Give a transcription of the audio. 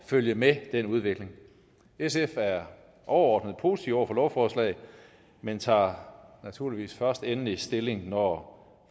følge med den udvikling sf er overordnet positive over for lovforslaget men tager naturligvis først endelig stilling når